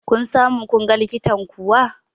Kun samu kunga likitan kuwa?